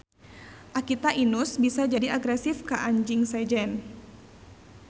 Akita Inus bisa jadi agresif ka anjing sejen.